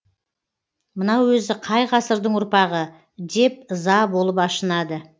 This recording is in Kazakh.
мынау өзі қай ғасырдың ұрпағы деп ыза болып ашынады